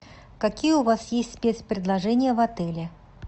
какие у вас есть спецпредложения в отеле